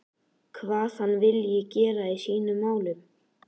Hvað hann vilji gera í sínum málum?